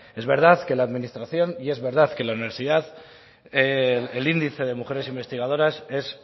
es verdad que en la administración y es verdad que en la universidad el índice de mujeres investigadoras es